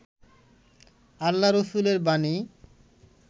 আল্লা-রছুলের বাণী